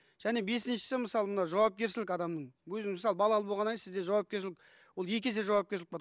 және бесіншісі мысалы мына жауапкершілік адамның өзің мысалы балалы болғаннан кейін сізде жауапкершілік ол екі есе жауапкершілік болады